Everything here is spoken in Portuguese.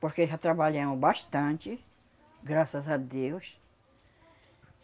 Porque já trabalhamos bastante, graças a Deus.